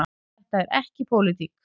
Þetta er ekki pólitík.